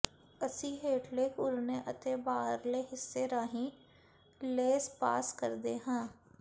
ਅਸੀਂ ਹੇਠਲੇ ਘੁਰਨੇ ਅਤੇ ਬਾਹਰਲੇ ਹਿੱਸੇ ਰਾਹੀਂ ਲੇਸ ਪਾਸ ਕਰਦੇ ਹਾਂ